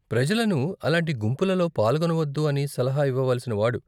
ప్రజలను అలాంటి గుంపులలో పాల్గొనవద్దు అని సలహా ఇవ్వవలసిన వాడు.